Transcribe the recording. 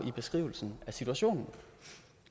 i beskrivelsen af situationen